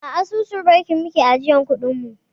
A asusun banki muke ajiyar kuɗin mu